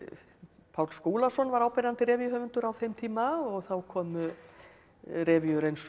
Páll Skúlason var áberandi revíuhöfundur á þeim tíma og þá komu revíur eins og